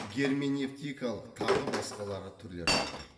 герменевтикалық тағы басқалары түрлерін атайды